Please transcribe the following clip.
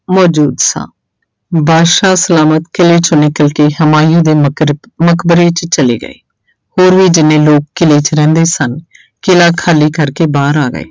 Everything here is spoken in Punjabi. ਮੌਜੂਦ ਸਾਂ, ਬਾਦਸ਼ਾਹ ਸਲਾਮਤ ਕਿਲ੍ਹੇ ਚੋਂ ਨਿਕਲ ਕੇ ਹਿਮਾਯੂ ਦੇ ਮਕਰ ਮਕਬਰੇ 'ਚ ਚਲੇ ਗਏ, ਹੋਰ ਵੀ ਜਿੰਨੇ ਲੋਕ ਕਿਲ੍ਹੇ 'ਚ ਰਹਿੰਦੇ ਸਨ ਕਿਲ੍ਹਾ ਖਾਲੀ ਕਰਕੇ ਬਾਹਰ ਆ ਗਏ।